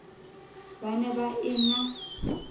ba ne ba e na